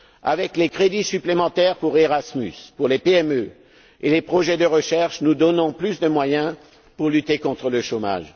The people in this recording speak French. Avec les crédits supplémentaires pour Erasmus, les PME et les projets de recherche, nous donnons plus de moyens à la lutte contre le chômage.